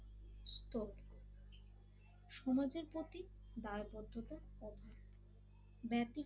সমাজের প্রতি দায়বদ্ধতা অভাব ব্যতিক্রমী